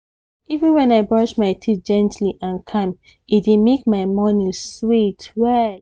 even when i brush my teeth gently and calm e dey make my morning sweet well